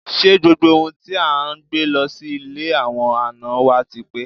Ṣé gbogbo ohun tí à ń gbé lọ sí ilé àwọn àna wá ti pé?